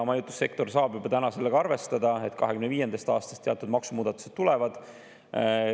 Majutussektor saab juba täna sellega arvestada, et 2025. aastast teatud maksumuudatused tulevad.